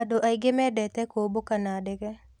Andũ aingĩ mendete kũmbũka na ndege.